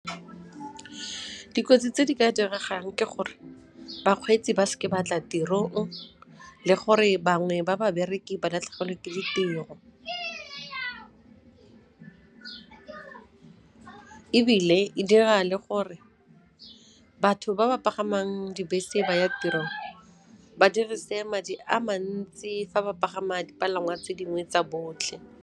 Dikotsi tse di ka diregang ke gore bakgweetsi ba seke ba tla tirong le gore bangwe ba babereki ba latlhegelwe ke ditiro. Ebile e dira le gore batho ba ba pagamang dibese ba ya tirong, ba dirise madi a mantsi fa ba pagama dipalangwa tse dingwe tsa botlhe.